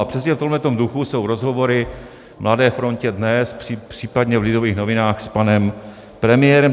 A přesně v tomto duchu jsou rozhovory v Mladé frontě DNES, případně v Lidových novinách, s panem premiérem.